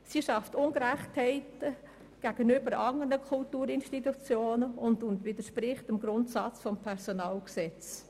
Diese Teuerungszulage schafft Ungerechtigkeiten gegenüber anderen Kulturinstitutionen und widerspricht dem Grundsatz des Personalgesetzes.